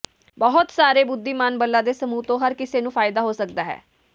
ਬਹੁਤ ਸਾਰੇ ਬੁੱਧੀਮਾਨ ਬੱਲਾ ਦੇ ਸਮੂਹ ਤੋਂ ਹਰ ਕਿਸੇ ਨੂੰ ਫਾਇਦਾ ਹੋ ਸਕਦਾ ਹੈ